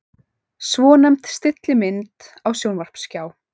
Svonefnd stillimynd á sjónvarpsskjá.